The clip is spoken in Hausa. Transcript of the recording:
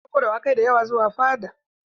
An ɗauko dawakai da yawa zuwa fada.